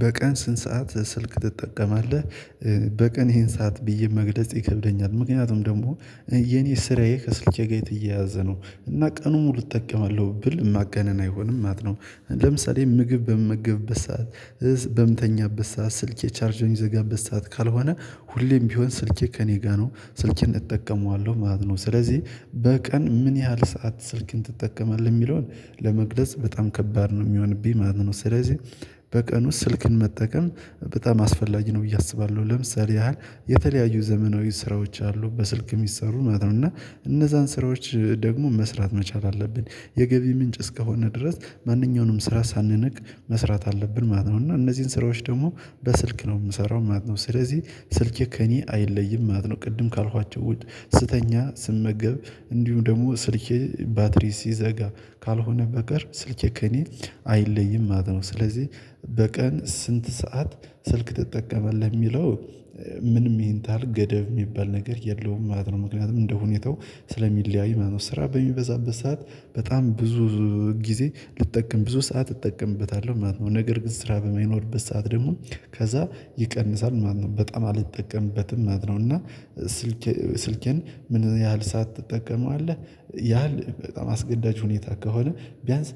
በቀን ስንት ሰዓት ስልክ ትጠቀማለህ? በቀን ይሄን ሰዓት ብዬ መግለጽ ይከብደኛል። ምክንያቱም ደግሞ የኔ ስራዬ ከስልኬ ጋር የተያያዘ ነው። እና ቀኑን ሙሉ እጠቀማለሁ ብል ማገነን አይሆንም ማት ነው። ለምሳሌ ምግብ በምገብበት ሰዓት በምተኛበት ሰዓት ስልኬ ቻርጅ በሚዘጋበት ሰዓት ካልሆነ ሁሌም ቢሆን ስልኬ ከእኔ ጋር ነው ስልኬን እጠቀመዋለሁ ማለት ነው። ስለዚህ በቀን ምን ያህል ሰዓት ስልክን ትጠቀማለህ ሚለውን ለመግለጽ በጣም ከባድ ነው ሚሆንብኝ ማለት ነው። ስለዚህ በቀኑ ስልክን መጠቀም በጣም አስፈላጊ ነው ብዬ አስባለሁ። ለምሳሌ ያህል የተለያዩ ዘመናዊ ስራዎች አሉ በስልክ ሚሰሩ ማለት ነው። እና እነዛን ስራዎች ደግሞ መስራት መቻል አለብን። የገቢ ምንጭ እስከሆነ ድረስ ማንኛውንም ስራ ሳንነቅ መስራት አለብን ማለት ነው። እና እነዚህን ስራዎች ደግሞ በስልክ ነው ምሰራው ማለት ነው። ስለዚህ ስልኬ ከእኔ አይለይም ማለት ነው። ቅድም ካልኋቸው ውጭ ስተኛ ስመገብ እንዲሁም ደግሞ ስልኬ ባትሪ ሲዘጋ ካልሆነ በቀር ስልኬ ከእኔ አይለይም ማለት ነው። ስለዚህ በቀን ስንት ሰዓት ስልክ ትጠቀማለህ ሚለው ምንም ይሄን ታሀል ገደብ ሚባል ነገር የለውም ማለት ነው። ምክንያቱም እንደ ሁኔታው ስለሚለያይ ማለት ነው። ስራ በሚበዛበት ሰዓት በጣም ብዙ ጊዜ ልጠቀም ብዙ ሰዓት እጠቀምበታለሁ ማለት ነው። ነገር ግን ስራ በማይኖርበት ሰዓት ደግሞ ከዛ ይቀንሳል ማለት ነው። በጣም አልጠቀምበትም ማለት ነው። እና ስልኬ ስልኬን ምን ያህል ሰዓት ትጠቀመው አለ? ያህል በጣም አስገዳጅ ሁኔታ ከሆነ ቢያንስ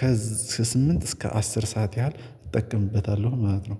ከስምንት እስከ አስር ሰዓት ያህል እጠቀምበታለሁ ማለት ነው